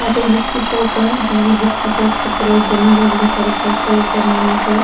यह कोई बुक की शॉप है जी बुक की शॉप के ऊपर एक बैनर है बड़ो सारो पोस्टर ऊपर नाम लिखयो है।